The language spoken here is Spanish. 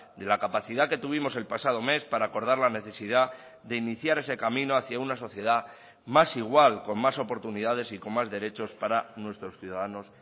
de la capacidad que tuvimos el pasado mes para acordar la necesidad de iniciar ese camino hacia una sociedad más igual con más oportunidades y con más derechos para nuestros ciudadanos